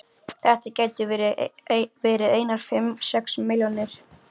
Þetta gætu verið einar fimm, sex milljónir.